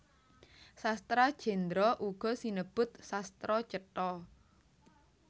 Sastra Jendra uga sinebut Sastra Cetha